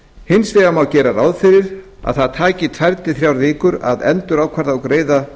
hins vegar má gera ráð fyrir að það taki tvö til þrjár vikur að endurákvarða og greiða